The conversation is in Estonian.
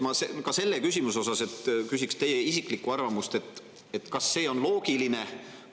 Ma ka selle küsimuse puhul küsiks teie isiklikku arvamust, et kas see on loogiline.